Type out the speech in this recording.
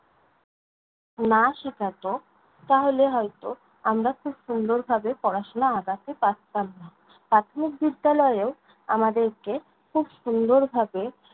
না শেখাত তাহলে হয়ত আমরা খুব সুন্দরভাবে পড়াশোনায় আগাতে পারতাম না। প্রাথমিক বিদ্যালয়ে্ব আমাদেরকে খূব সুন্দরভাবে